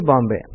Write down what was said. Bombay